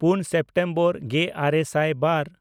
ᱯᱩᱱ ᱥᱮᱯᱴᱮᱢᱵᱚᱨ ᱜᱮᱼᱟᱨᱮ ᱥᱟᱭ ᱵᱟᱨ